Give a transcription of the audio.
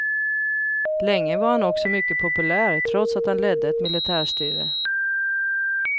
Länge var han också mycket populär trots att han ledde ett militärstyre.